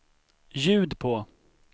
ljud på